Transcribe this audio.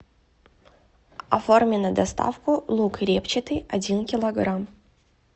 оформи на доставку лук репчатый один килограмм